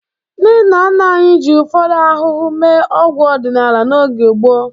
Ndị nna nna anyị ji ụfọdụ ahụhụ mee ọgwụ ọdinala n'oge gboo.